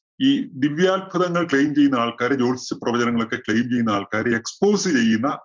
ഈ ദിവ്യാത്ഭുതങ്ങൾ claim ചെയ്യുന്ന ആൾക്കാര് ജോത്സ്യ പ്രവചനങ്ങളൊക്കെ claim ചെയ്യുന്ന ആൾക്കാര് expose ചെയ്യുന്ന